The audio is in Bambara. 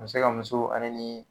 se ka muso ale ni